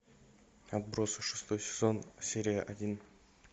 отбросы шестой сезон серия один